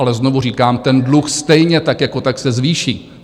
Ale znovu říkám, ten dluh stejně, tak jako tak, se zvýší.